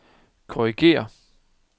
korrigér